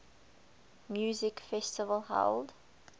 music festival held